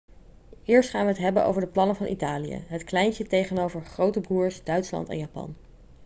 eerst gaan we het hebben over de plannen van italië het kleintje tegenover grote broers' duitsland en japan